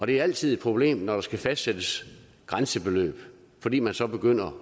det er altid et problem når der skal fastsættes grænsebeløb fordi man så begynder